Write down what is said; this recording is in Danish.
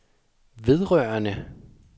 vedrørende